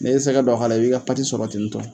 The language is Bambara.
Ne ye sɛgɛ dɔ k'ala e b'e ka pati sɔrɔ ten to